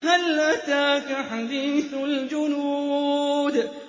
هَلْ أَتَاكَ حَدِيثُ الْجُنُودِ